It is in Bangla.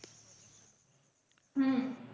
হম